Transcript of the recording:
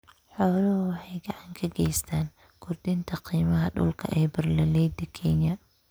Xooluhu waxay gacan ka geystaan ??kordhinta qiimaha dhulka ee beeralayda Kenya.